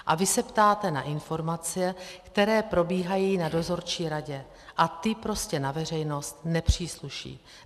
A vy se ptáte na informace, které probíhají na dozorčí radě, a ty prostě na veřejnost nepřísluší.